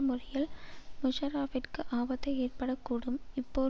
முறையில் முஷரஃப்பிற்கு ஆபத்தை ஏற்பட கூடும் இப்போர்